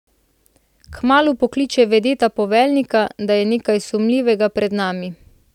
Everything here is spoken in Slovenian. Kmalu pokliče vedeta poveljnika, da je nekaj sumljivega pred nami.